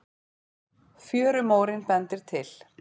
Fjörumórinn bendir til